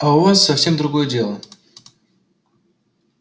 а у вас совсем другое дело